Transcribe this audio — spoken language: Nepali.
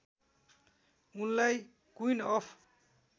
उनलाई क्विन अफ